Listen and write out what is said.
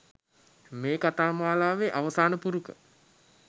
මේ කතා මාලාවේ අවසාන පුරුක